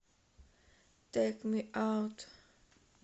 тэйк ми аут